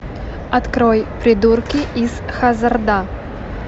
открой придурки из хаззарда